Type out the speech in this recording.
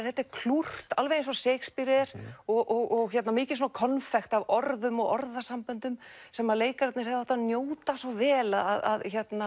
þetta er klúrt alveg eins og Shakespeare er og mikið konfekt af orðum og orðasamböndum sem leikararnir hefðu átt að njóta svo vel að